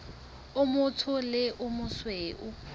o motsho le o mosweu